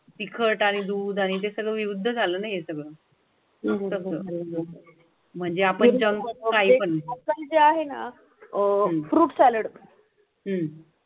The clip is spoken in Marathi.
दूध आणि ते सगळं विरुद्ध झालं नाही म्हणजे आपण जणू काही पण जे आहे ना? हम्म